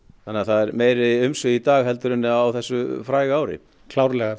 þannig að það eru meiri umsvif í dag heldur en á þessu fræga ári klárlega